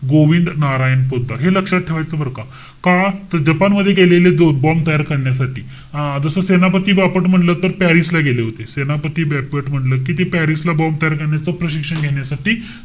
गोविंद नारायण पोतदार. हे लक्षात ठेवायचं बरं का. का? त जपान मध्ये गेलेले दोन bomb तयार करण्यासाठी. अं जस सेनापती बापट म्हंटल तर, पॅरिस ला गेले होते. सेनापती बापट म्हणलं कि ते पॅरिस ला bomb तयार करण्याचं प्रशिक्षण घेण्यासाठी,